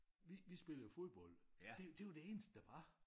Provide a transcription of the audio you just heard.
Vi vi spillede jo fodbold det var jo det eneste der var